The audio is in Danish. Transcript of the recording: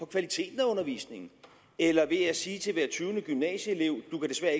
kvaliteten af undervisningen eller ved at sige til hver tyvende gymnasieelev du kan